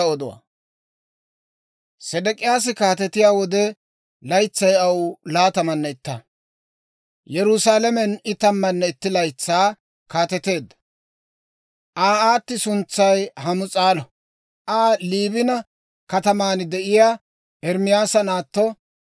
Sedek'iyaasi kaatetiyaa wode, laytsay aw laatamanne itta; Yerusaalamen I tammanne itti laytsaa kaateteedda. Aa aatti suntsay Hamus'aalo; Aa Liibina kataman de'iyaa Ermaasa naatto.